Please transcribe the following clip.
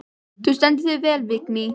Þú stendur þig vel, Vigný!